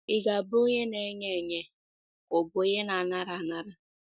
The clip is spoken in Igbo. “ Ị̀ Ga - abụ Onye Na - enye Enye Ka Ọ Bụ Onye Na - anara Anara? ”